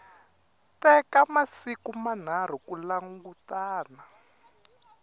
teka masiku manharhu ku langutana